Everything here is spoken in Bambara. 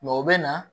o bɛ na